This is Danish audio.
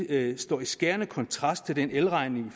det står i skærende kontrast til den elregning